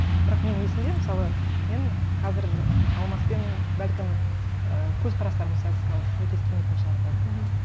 бірақ менің есімде мысалы мен қазір алмаспен бәлкім і көзқарастарымыз қазір сәйкес келмейтін шығар бәлкім